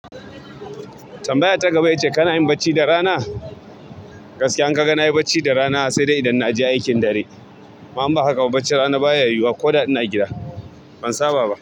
Tambaya ta gaba ya ce kana yin bacci da rana? Gaskiya in ka ga na yi bacci da rana sai dai idan na je aikin dare. Ama in ba haka ba bacci rana baya yiwuwa ko da ina gida. Ban saba ba.